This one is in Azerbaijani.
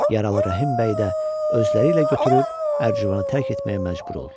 Yaralı Rəhim bəy də özləri ilə götürüb Ərcivanı tərk etməyə məcbur oldular.